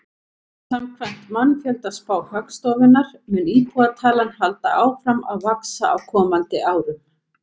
Samkvæmt mannfjöldaspá Hagstofunnar mun íbúatalan halda áfram að vaxa á komandi árum.